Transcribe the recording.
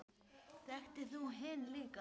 Þekktir þú hinn líka?